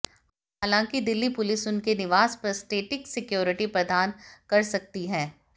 हालांकि दिल्ली पुलिस उनके निवास पर स्टेटिक सिक्योरिटी प्रदान कर सकती है